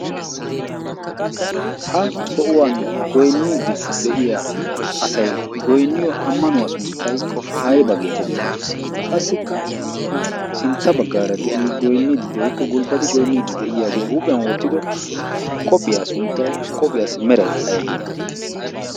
ha sohuwan goyniidi de'iya asai goynniyo ammanuwaa sunttay aybaa geetettii qassikka ha sintta baggaara de'ii goinniiddi de'ikko gulbbati goynniiddi de'iyaagee huuphiyan wottido qophiyaa sunttay qophiyaassi meray aybee